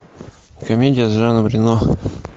комедия с жаном рено